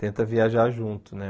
Tenta viajar junto, né?